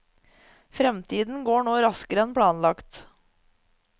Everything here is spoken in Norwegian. Fremdriften går nå raskere enn planlagt.